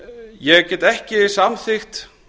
ég get ekki samþykkt